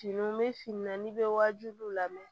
Fini bɛ fini na n'i bɛ wajibiw lamɛn